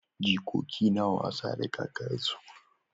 Jikoki na wasa da kakansu.